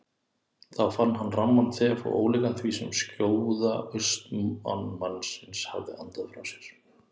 Þá fann hann ramman þef og ólíkan því sem skjóða austanmannsins hafði andað frá sér.